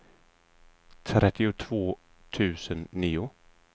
trettiotvå tusen nio